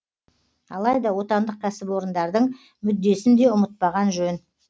алайда отандық кәсіпорындардың мүддесін де ұмытпаған жөн